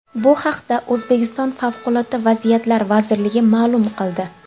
Bu haqda O‘zbekiston Favqulodda vaziyatlar vazirligi ma’lum qildi.